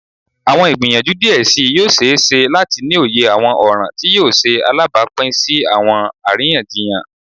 Awọn igbiyanju diẹ sii yoo ṣee ṣe lati ni oye awọn ọran ti yoo ṣe alabapin si awọn ariyanjiyan.